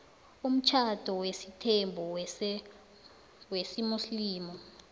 umtjhado wesithembu wesimuslimu